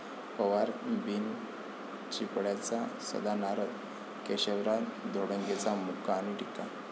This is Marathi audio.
पवार बिनचिपळ्याचा सदा नारद, केशवराव धोंडगेंचा मुका आणि टीका